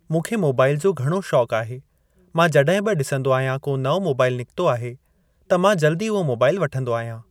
मूंखे मोबाइल जो घणो शोंक आहे, मां जॾहिं बि ॾिसंदो आहियां को नओं मोबाइल निकतो आहे त मां जल्दी उहो मोबाइल वठंदो आहियां।